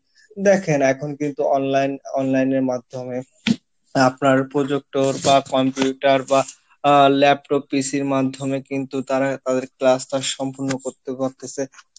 দেখেন এখন কিন্তু online online এর মাধ্যমে আপনার প্রযুক্ত বা computer বা আহ laptop PC ইর মাধ্যমে কিন্তু তারা তাদের class টা সম্পূর্ণ করতেও পারতিছে